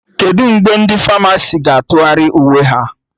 Kedụ mgbe ndị Famasi ga-atụgharị uwe ha?